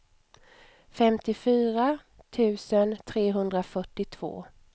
femtiofyra tusen trehundrafyrtiotvå